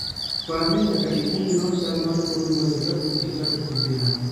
Par ni nyaka ikwong inon chal mar kor lwasi kapok ichako tijno.